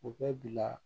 U bɛ bila